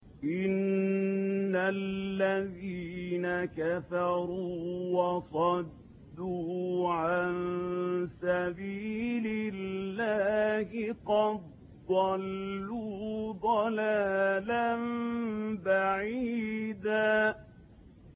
إِنَّ الَّذِينَ كَفَرُوا وَصَدُّوا عَن سَبِيلِ اللَّهِ قَدْ ضَلُّوا ضَلَالًا بَعِيدًا